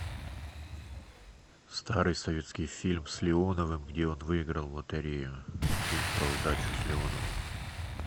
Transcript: старый советский фильм с леоновым где он выиграл в лотерею фильм про удачу с леоновым